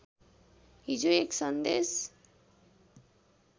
हिजो एक सन्देश